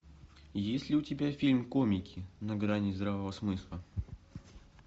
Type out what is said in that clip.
есть ли у тебя фильм комики на грани здравого смысла